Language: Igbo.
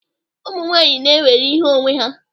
Ụmụ nwanyị na-ewere ihe onwe ha.